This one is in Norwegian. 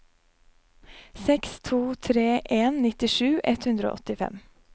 seks to tre en nittisju ett hundre og åttifem